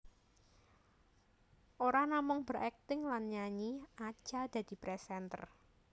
Ora namung berakting lan nyanyi Acha dadi presenter